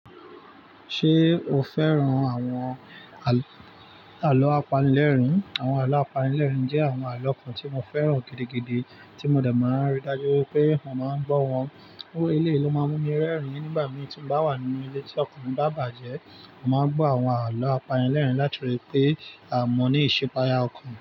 Ṣé o fẹ́ràn àwọn àlọ́ apanilẹ́rìn? Àwọn àlọ́ apanilẹ́rìn jẹ́ àwọn àlọ́ kan tí mo fẹ́ràn gidigidi tí mo dà máa ń rí, dájú pé mo màá ń gbọ́ wọn. So eléyi ló máa mú mi rẹ́rìn-ín nígbà mì tí bá wà nínú ilé tí ọkan mi bà bájẹ́. Mò máa ń gbọ́ àwọn àlọ́ apanilẹ́rìn latorí pé ah mọ ní ìsipaya ọkàn.